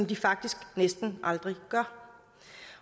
de faktisk næsten aldrig gør